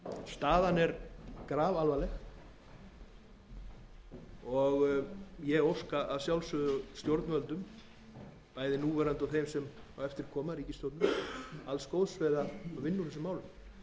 staðan er grafalvarleg ég óska að sjálfsögðu stjórnvöldum bæði núverandi og þeim sem á eftir koma ríkisstjórninni alls góðs við að vinna úr málunum hagsmunir eru